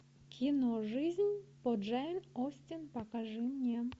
кино жизнь по джейн остин покажи мне